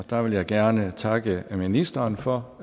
der vil jeg gerne takke ministeren for